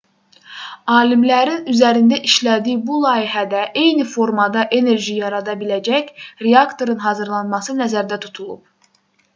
alimlərin üzərində işlədiyi bu layihədə eyni formada enerji yarada biləcək reaktorun hazırlanması nəzərdə tutulub